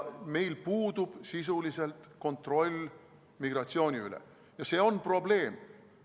Meil puudub sisuliselt kontroll migratsiooni üle ja see on probleem.